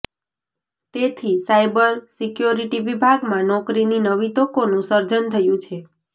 તેથી cyber security વિભાગમાં નોકરીની નવી તકોનું સર્જન થયું છે